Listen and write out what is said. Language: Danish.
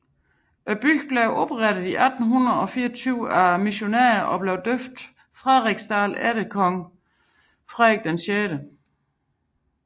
Bygden blev oprettet i 1824 af missionærer og døbt Frederiksdal efter kong Frederik 6